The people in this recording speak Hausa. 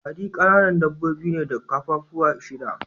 Kwarare kananan dabbobi ne da kaffafuwa shida.